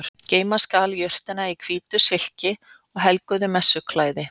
geyma skal jurtina í hvítu silki og helguðu messuklæði